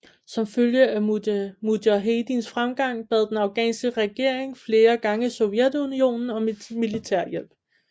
Som følge af mujahedins fremgang bad den afghanske regering flere gange Sovjetunionen om militærhjælp